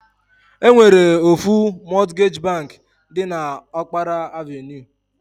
E nwere ofu Mọtgej bank dị n'Ọkpara Avenue.